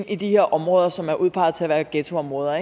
i de her områder som er udpeget til at være ghettoområder